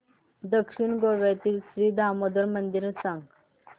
दक्षिण गोव्यातील श्री दामोदर मंदिर मला सांग